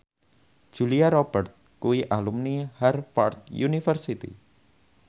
Julia Robert kuwi alumni Harvard university